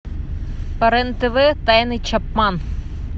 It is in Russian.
по рен тв тайны чапман